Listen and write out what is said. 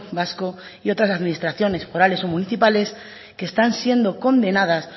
vasco y otras administraciones forales o municipales que están siendo condenadas